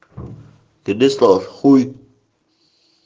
тебе слава хуй